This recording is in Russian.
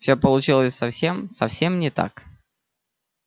все получалось совсем совсем не так